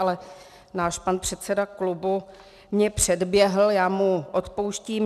Ale náš pan předseda klubu mě předběhl, já mu odpouštím.